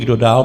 Kdo dál?